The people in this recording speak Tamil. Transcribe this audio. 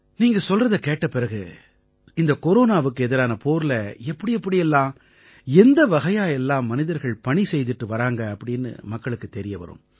நீங்க சொல்றதைக் கேட்ட பிறகு இந்தக் கொரோனாவுக்கு எதிரான போரில எப்படி எப்படி எல்லாம் எந்த வகையா எல்லாம் மனிதர்கள் பணி செய்திட்டு வறாங்க அப்படீன்னு மக்களுக்குத் தெரிய வரும்